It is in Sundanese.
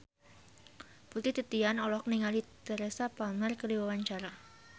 Putri Titian olohok ningali Teresa Palmer keur diwawancara